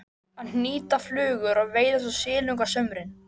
Að hnýta flugur og veiða svo silung á sumrin.